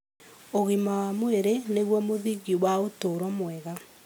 Ũgima wa mwĩrĩ nĩguo mũthingi wa ũtũũro mwega.